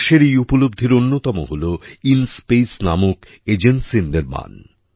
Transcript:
দেশের এই উপলব্ধির অন্যতম হল ইনস্পেস নামক এজেন্সির নির্মাণ